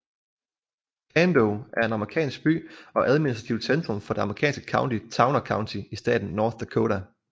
Cando er en amerikansk by og administrativt centrum for det amerikanske county Towner County i staten North Dakota